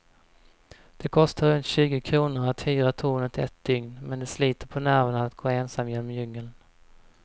Det kostar runt tjugo kronor att hyra tornet ett dygn, men det sliter på nerverna att gå ensam genom djungeln.